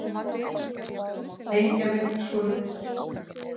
Tengja mig svoleiðis.